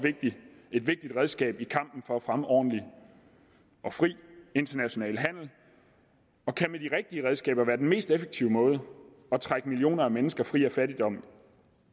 et vigtigt redskab i kampen for at fremme ordentlig og fri international handel og kan med de rigtige redskaber være den mest effektive måde at trække millioner af mennesker fri af fattigdom